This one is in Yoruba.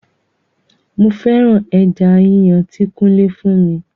Mo féràn ẹja yíyàn ti kunle fún mi